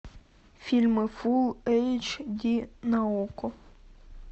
фильмы фул эйч ди на окко